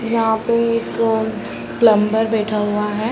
यहां पे एक प्लम्बर बैठा हुआ है।